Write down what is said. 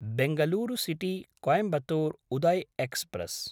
Bangalore सिटी–कोयंबतुर् Uday express